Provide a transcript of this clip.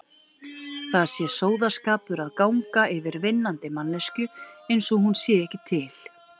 Það sé sóðaskapur að ganga yfir vinnandi manneskju einsog hún sé ekki til.